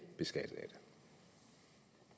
beskattet